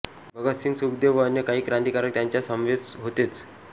भगतसिंग सुखदेव व अन्य काही क्रांतिकारक त्यांच्या समवेत होतेच